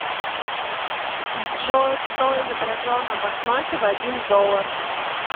джой кто изображен на банкноте в один доллар